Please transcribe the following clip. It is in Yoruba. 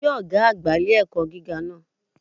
Kí Ọ̀gá àgbà ilé-ẹ̀kọ́ gíga náà